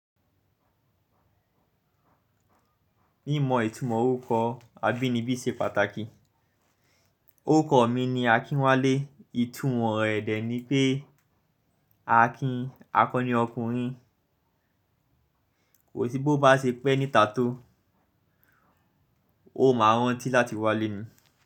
Mímọ ìtumọ̀ orúkọ abínibí ṣe pàtàkì. Orúkọ mi ni Akinwale, ìtumọ̀ rẹ̀ dẹ̀ ni pé Akin akọni ọkùnrin, ko si bo bá ṣe pẹ́ níta tó, ó máa rántí láti wá lé ni.